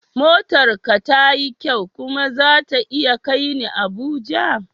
Motar ka tayi kyau kuma zata iya kai ni Abuja?